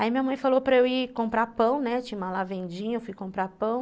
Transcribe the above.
Aí minha mãe falou para eu ir comprar pão, né, tinha uma vendinha, eu fui comprar pão.